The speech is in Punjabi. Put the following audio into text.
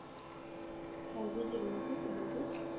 ਹਾਂਜੀ ਜ਼ਰੂਰ ਜੀ ਬੋਲੋ ਜੀ